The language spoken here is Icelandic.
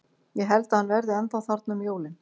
Ég held að hann verði ennþá þarna um jólin.